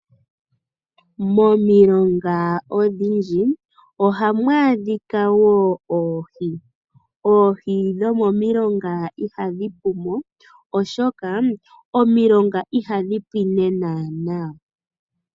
Momilonga odhindji ohamu adhika wo oohi. Oohi dhomomilonga ihadhi pu mo, oshoka omilonga ihadhi pwine naana.